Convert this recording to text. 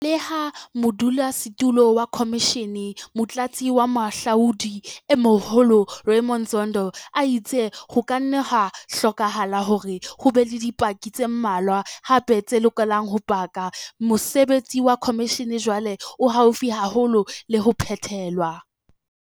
Leha modulasetulo wa khomishene, Motlatsi wa Moahlodi e Moholo Raymond Zondo a itse ho ka nna ha hlokahala hore ho be le dipaki tse mmalwa hape tse lokelang ho paka, mosebetsi wa khomishene jwale o haufi haholo le ho phethelwa.